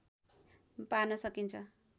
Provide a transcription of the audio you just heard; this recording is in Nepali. पार्न सकिन्छ